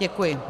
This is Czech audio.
Děkuji.